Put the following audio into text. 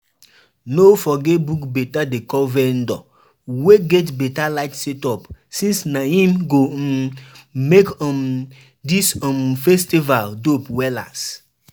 No forget book beta decor vendor wey get beta light setup since na em go um make um dis um festival dope wellas.